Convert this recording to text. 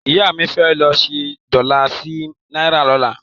Ìyá mi fẹ́ lọ ṣẹ́ dọ́là sí náírà lọ́la.